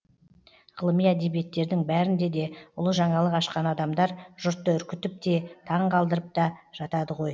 ғылыми әдебиеттердің бәрінде де ұлы жаңалық ашқан адамдар жұртты үркітіп те таң қалдырып та жатады ғой